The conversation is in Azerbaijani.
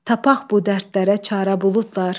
Tapaq bu dərdlərə çarə buludlar.